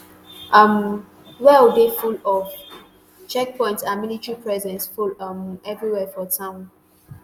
um well dey full of checkpoints and military presence full um evriwia for town